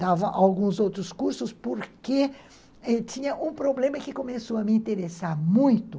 Dava alguns outros cursos porque tinha um problema que começou a me interessar muito.